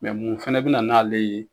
mun fana bɛ na n'ale ye